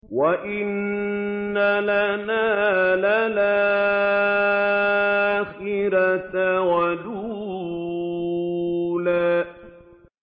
وَإِنَّ لَنَا لَلْآخِرَةَ وَالْأُولَىٰ